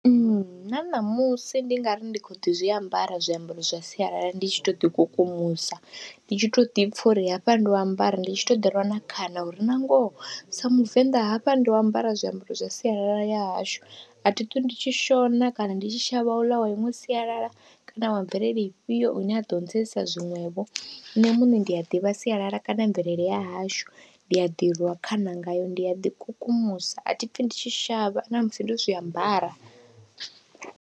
Nna ṋamusi ndi nga ri ndi khou ḓi zwi ambara zwiambaro zwa sialala ndi tshi tou ḓikukumusa, ndi tshi tou ḓi pfha uri hafha ndo ambara, ndi tshi tou ḓirwa khana uri nangoho sa muvenḓa hafha ndi u ambara zwiambaro zwa sialala ya hashu, a thi ṱwi ndi tshi shona kana ndi tshi shavha uḽa wa inwe sialala kana wa mvelele ifhio ine a ḓo ntsedzisa zwiṅwevho. Nṋe muṋe ndi a ḓivha sialala kana mvelele ya hashu ndi a ḓirwa khana ngayo, ndi a ḓikukumusa a thi pfhi ndi tshi shavha na musi ndo zwi ambara.